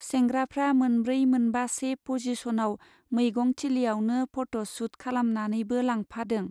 सेंग्राफ्रा मोनब्रै मोनबासे पजिस'नाव मैगं थिलियावनो पट' सुट खालामनानैबो लांफादों।